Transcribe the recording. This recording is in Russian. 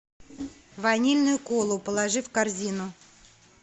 ванильную колу положи в корзину